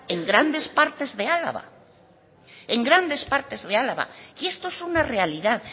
en grandes partes de álava y esto es una realidad